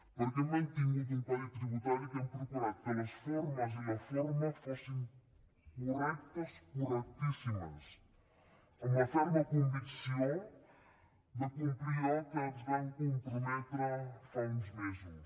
perquè hem mantingut un codi tributari que hem procurat que les formes i la forma fossin correctes correctíssimes amb la ferma convicció de complir allò a què ens vam comprometre fa uns mesos